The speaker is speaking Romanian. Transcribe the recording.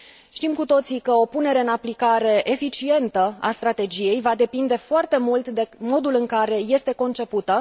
Știm cu toții că o punere în aplicare eficientă a strategiei va depinde foarte mult de modul în care este concepută.